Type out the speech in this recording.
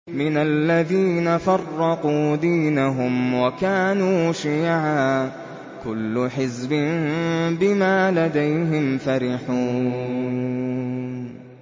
مِنَ الَّذِينَ فَرَّقُوا دِينَهُمْ وَكَانُوا شِيَعًا ۖ كُلُّ حِزْبٍ بِمَا لَدَيْهِمْ فَرِحُونَ